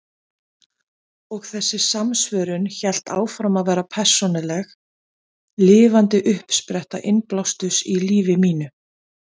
Og þessi samsvörun hélt áfram að vera persónuleg, lifandi uppspretta innblásturs í lífi mínu.